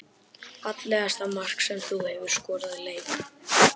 Fallegasta mark sem þú hefur skorað í leik?